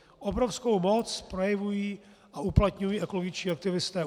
Obrovskou moc projevují a uplatňují ekologičtí aktivisté.